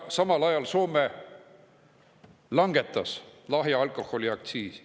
Samal ajal langetas Soome lahja alkoholi aktsiisi.